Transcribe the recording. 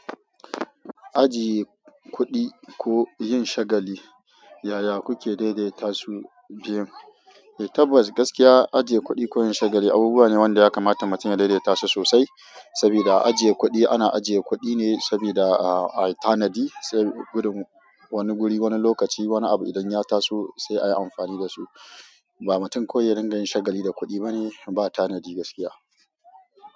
Ajiye kuɗi ko yin shagali, yaya kuke daidaita su biyun? Tabbas gaskiya ajiye kuɗi ko yin shagali abubuwa ne wanda ya kamata mutum ya daidaita su sosai. Saboda ajiye kuɗi ana ajiye kuɗi ne saboda a tanadi wani guri, wani lokaci, wani abu idan ya taso sai ayi amfani da su. Ba mutum kawai ya rinƙa yin shagali da kuɗi bane. Ba tanadi gaskiya.